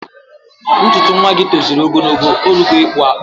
Ntuntu nwagi toziri ogologo, orugo ikpu akpu